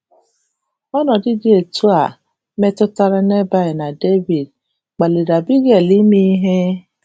Ọnọdụ dị etu a metụtara Nebal na Devid kpaliri Abigail ime ihe?